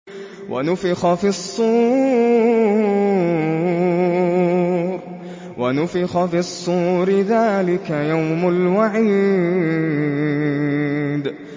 وَنُفِخَ فِي الصُّورِ ۚ ذَٰلِكَ يَوْمُ الْوَعِيدِ